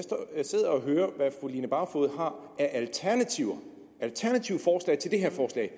jeg sidder og hører hvad fru line barfod har af alternative forslag til det her forslag